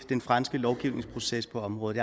den franske lovgivningsproces på området